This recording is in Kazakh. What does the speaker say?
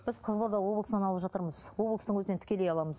біз қызылорда облысынан алып жатырмыз облыстың өзінен тікелей аламыз